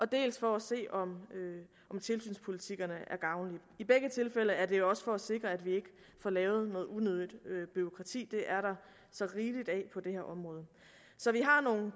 dels for at se om tilsynspolitikkerne er gavnlige i begge tilfælde er det også for at sikre at vi ikke får lavet noget unødigt bureaukrati for det er der så rigeligt af på det her område så vi har nogle